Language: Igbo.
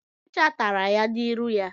Ọchicha tara ya n'irụ ya.